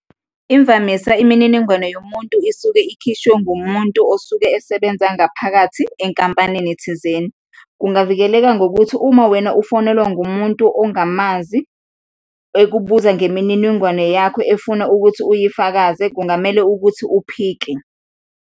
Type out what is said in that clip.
Imvamisa, imininingwane yomuntu isuke ikhishwe ngumuntu osuke esebenza ngaphakathi enkampanini thizeni. Kungavikeleka ngokuthi uma wena ufonelwa ngumuntu ongamazi ekubuza ngemininingwane yakho, efuna ukuthi uyifakaze, kungamele ukuthi uphike.